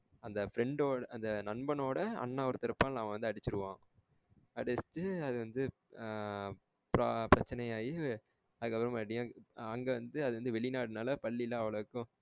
அந்த friend ஓட அந்த நண்பனோட அண்ணன் ஒருத்தன் இருப்பான்ள அவன் வந்து அடிச்சிருவான். அடுத்து அது வந்து பிரட்சனயாகி அதுக்கு அப்புறம் அங்க வந்து அது வெளிநாடுனால பள்ளிலாம் அவ்ளோக்கும்